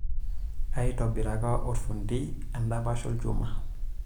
Aitobiraka olfundi endapash olchuma.